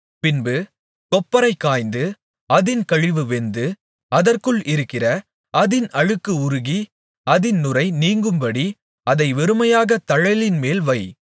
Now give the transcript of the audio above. பின்பு கொப்பரை காய்ந்து அதின் கழிவு வெந்து அதற்குள் இருக்கிற அதின் அழுக்கு உருகி அதின் நுரை நீங்கும்படி அதை வெறுமையாகத் தழலின்மேல் வை